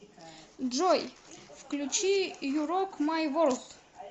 джой включи ю рок май ворлд